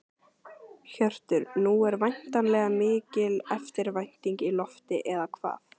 Hjörtur, nú er væntanlega mikil eftirvænting í lofti, eða hvað?